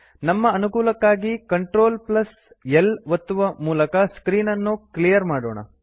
ನಮ್ಮ ಅನುಕೂಲಕ್ಕಾಗಿ CltL ಒತ್ತುವ ಮೂಲಕ ಸ್ಕ್ರೀನ್ ಅನು ಕ್ಲಿಯರ್ ಮಾಡೋಣ